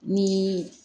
Ni